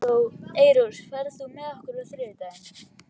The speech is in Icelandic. Eyrós, ferð þú með okkur á þriðjudaginn?